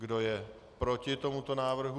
Kdo je proti tomuto návrhu?